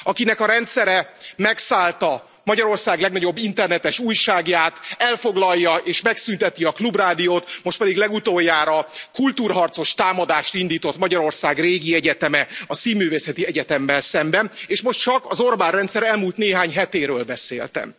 Akinek a rendszere megszállta Magyarország legnagyobb internetes újságját, elfoglalja és megszünteti a Klubrádiót, most pedig legutoljára kultúrharcos támadást indított Magyarország régi egyeteme, a Színművészeti Egyetemmel szemben, és most csak az Orbán rendszer elmúlt néhány hetéről beszéltem.